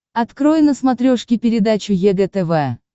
открой на смотрешке передачу егэ тв